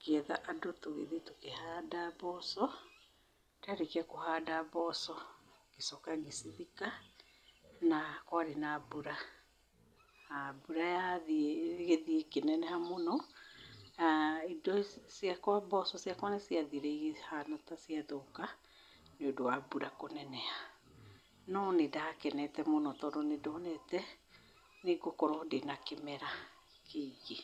ngĩetha andũ tũgĩthĩ tũkĩhanda mboco ndarĩkĩa kũhanda mboco ngĩcoka ngĩcithika na kwarĩ na mbura, na mbũra yathiĩ ĩgĩthiĩ ĩkĩneneha mũno, mboco ciakwa nĩ ciathire ikĩhana ta cia thũka nĩ ũndũ wa mbura kũneneha, no nĩ ndakenete mũno tondũ nĩ ndonete nĩ ngũkorwo ndĩna kĩmera kĩingĩ,